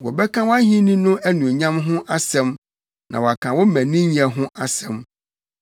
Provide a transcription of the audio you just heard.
Wɔbɛka wʼahenni no anuonyam ho asɛm na wɔaka wo mmaninyɛ ho asɛm,